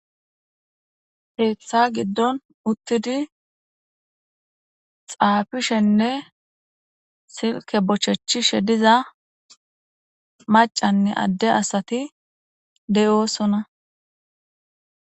Keetha giddon uttidi xaafishenne silke bochechishe diza maccanne adde asati de'osona.